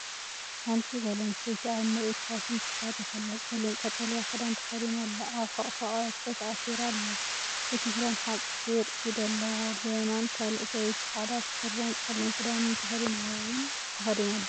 ሓንቲ ጓል ኣንስተይቲ ኣብ ምርኢት ፋሽን ትሳተፍ ኣላ። ጸሊም ቀጠልያ ክዳን ተኸዲና ኣላ፡ ኣብ ሕቝፋ ቀበቶ ተኣሲራ ኣላ። እቲ ክዳን ሓጺር ኢድ ኣለዎ። ብየማን ካልእ ሰበይቲ ጻዕዳ ስረን ጸሊም ክዳንን ተኸዲና ደው ኢላ ኣላ።